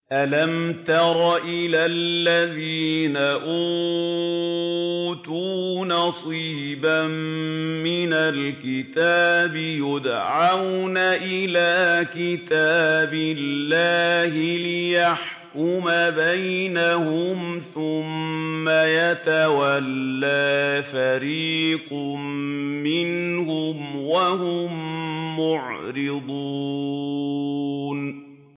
أَلَمْ تَرَ إِلَى الَّذِينَ أُوتُوا نَصِيبًا مِّنَ الْكِتَابِ يُدْعَوْنَ إِلَىٰ كِتَابِ اللَّهِ لِيَحْكُمَ بَيْنَهُمْ ثُمَّ يَتَوَلَّىٰ فَرِيقٌ مِّنْهُمْ وَهُم مُّعْرِضُونَ